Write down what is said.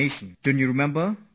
Tomorrow is Budget Day